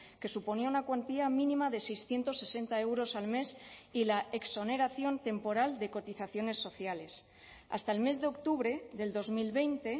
que suponía una cuantía mínima de seiscientos sesenta euros al mes y la exoneración temporal de cotizaciones sociales hasta el mes de octubre del dos mil veinte